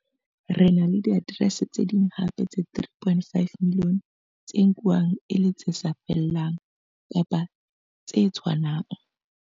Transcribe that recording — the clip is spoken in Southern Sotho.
Re na le diaterese tse ding hape tse 3.5 milione tse nkuwang e le tse sa 'fellang' kapa tse 'tshwanang'.